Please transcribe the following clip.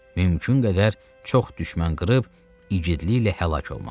Mümkün qədər çox düşmən qırıb igidliklə həlak olmaq.